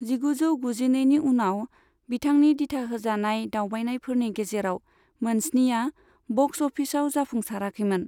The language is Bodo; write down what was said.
जिगुजौ गुजिनैनि उनाव, बिथांनि दिथाहोजानाय दावबायनायफोरनि गेजेराव मोनस्निया बक्स अफिसाव जाफुंसाराखैमोन।